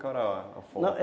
Qual era a forma?